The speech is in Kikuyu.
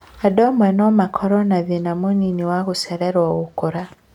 Andũ amwe no makorwo na thĩna mũnini wa gũcererwo gũkũra